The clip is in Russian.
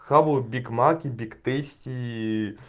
кого биг мак и биг тейсти и